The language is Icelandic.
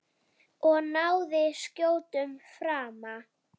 Og náði skjótum frama.